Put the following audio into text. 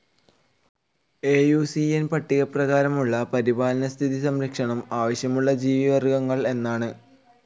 I U C ന്‌ പട്ടികപ്രകാരമുള്ള പരിപാലന സ്ഥിതി സംരക്ഷണം ആവശ്യമുള്ള ജീവിവർഗ്ഗങ്ങൾ എന്നാണ്.